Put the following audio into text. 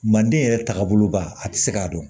Manden yɛrɛ taagaboloba a tɛ se k'a dɔn